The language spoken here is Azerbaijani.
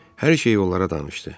Hər şeyi onlara danışdı.